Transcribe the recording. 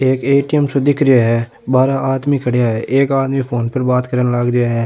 एक एटीएम सो दिख रो है बार आदमी खड़िया है एक आदमी फ़ोन पर बाद करन लाग रो है।